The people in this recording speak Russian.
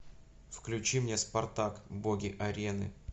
включи мне спартак боги арены